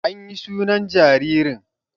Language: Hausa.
Anyi sunan jaririn